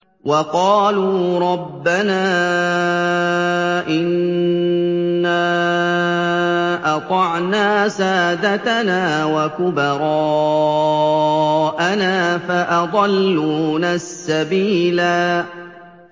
وَقَالُوا رَبَّنَا إِنَّا أَطَعْنَا سَادَتَنَا وَكُبَرَاءَنَا فَأَضَلُّونَا السَّبِيلَا